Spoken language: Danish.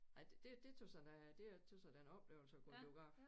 Ej det det tøs jeg da det tøs jeg da er en oplevelse at gå i biograf